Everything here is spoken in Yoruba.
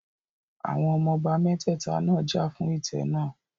Àwọn ọmọ ọba mẹ́tẹ̀ta náà jà fún ìtẹ́ náà